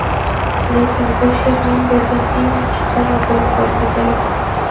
Lekin bu she’r men bergan eng yaxshi sovg‘a bo‘lib qolsa kerak.